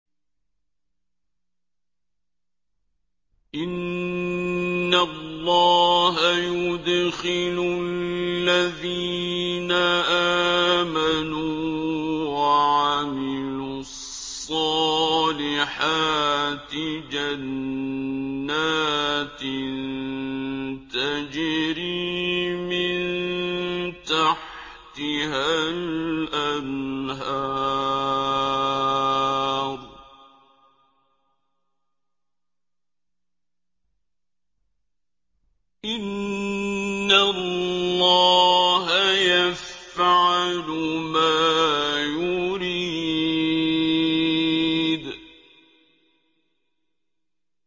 إِنَّ اللَّهَ يُدْخِلُ الَّذِينَ آمَنُوا وَعَمِلُوا الصَّالِحَاتِ جَنَّاتٍ تَجْرِي مِن تَحْتِهَا الْأَنْهَارُ ۚ إِنَّ اللَّهَ يَفْعَلُ مَا يُرِيدُ